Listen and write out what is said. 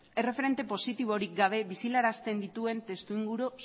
erreferente positiborik gabe biziarazten dituen testuinguru